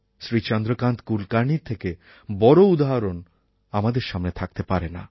শ্রী চন্দ্রকান্ত কুলকার্ণির থেকে বড়ো উদাহরণ আমাদের সামনে থাকতে পারে না